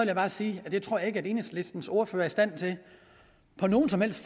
jeg bare sige at det tror jeg ikke at enhedslistens ordfører er i stand til på noget som helst